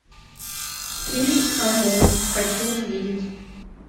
фильм амун хочу увидеть